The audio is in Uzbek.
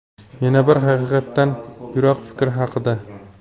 Yana bir haqiqatdan yiroq fikr haqida.